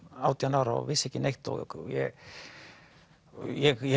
átján ára og vissi ekki neitt ég ég